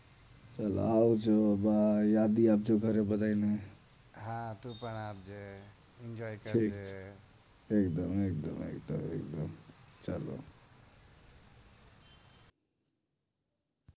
ચાલો આવજો બયય યાદી આપજો ઘરે બધાની હા તું પણ આપજે એન્જોય કરજે .